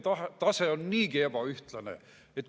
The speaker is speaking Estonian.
" Jah, kohtunike tase on niigi ebaühtlane.